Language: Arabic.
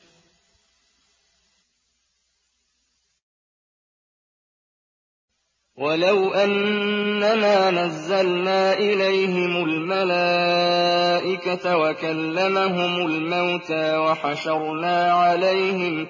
۞ وَلَوْ أَنَّنَا نَزَّلْنَا إِلَيْهِمُ الْمَلَائِكَةَ وَكَلَّمَهُمُ الْمَوْتَىٰ وَحَشَرْنَا عَلَيْهِمْ